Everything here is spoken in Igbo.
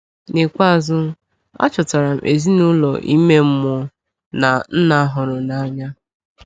N’ikpeazụ, achọtara m ezinụlọ ime mmụọ na Nna hụrụ n’anya!